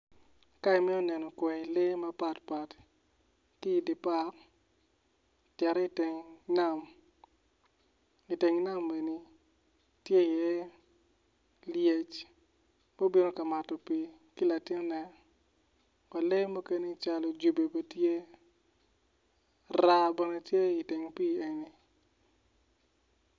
Ka imito neno kwayi lee mapatpat ki i dye park cit i teng nam i teng nam eni tye iye lyec ma obino ka mato pii ki latinne kun lee mukene calo jubi bene tye raa bene tye i teng pii eni.